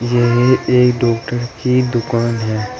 यह एक डॉक्टर की दुकान है।